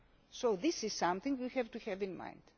waters. So this is something we have to bear